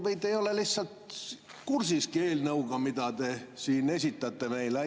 Või te ei ole lihtsalt kursis eelnõuga, mida te siin esitate meile?